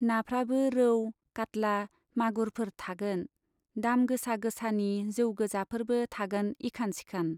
नाफ्राबो रौ, काटला, मागुरफोर थागोन, दाम गोसा गोसानि जौ गोजाफोरबो थागोन इखान सिखान।